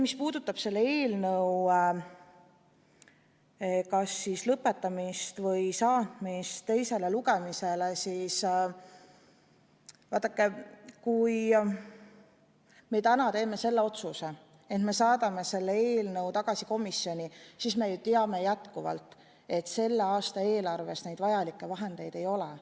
Mis puudutab selle eelnõu kas siis lõpetamist või saatmist teisele lugemisele, siis vaadake, kui me täna teeme selle otsuse, et me saadame selle eelnõu tagasi komisjoni, siis me ju teame endiselt, et selle aasta eelarves neid vajalikke vahendeid ei ole.